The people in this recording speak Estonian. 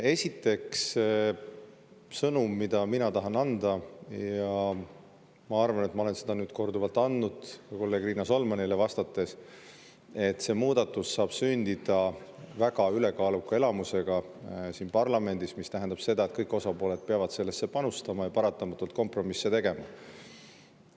Esiteks, sõnum, mida mina tahan anda, ja ma arvan, et ma olen seda korduvalt andnud, ka kolleeg Riina Solmanile vastates, on, et see muudatus saab sündida väga ülekaaluka enamusega siin parlamendis, mis tähendab seda, et kõik osapooled peavad sellesse panustama ja paratamatult kompromisse tegema.